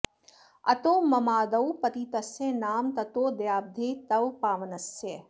अतो ममादौ पतितस्य नाम ततो दयाब्धे तव पावनस्य